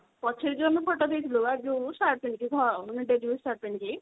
ପଛରେ ଯଉ ଆମେ photo ଦେଇଥିଲୁ ବା ଯଉ shirt ପିନ୍ଧିକି ଯଉ ଧ ମାନେ daily use shirt ପିନ୍ଧିକି